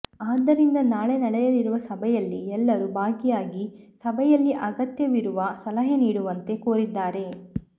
ಆದ್ದರಿಂದ ನಾಳೆ ನಡೆಯಲಿರುವ ಸಭೆಯಲ್ಲಿ ಎಲ್ಲರೂ ಭಾಗಿಯಾಗಿ ಸಭೆಯಲ್ಲಿ ಅಗತ್ಯವಿರುವ ಸಲಹೆ ನೀಡುವಂತೆ ಕೋರಿದ್ದಾರೆ